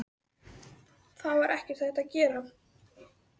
Það var ekkert hægt að gera.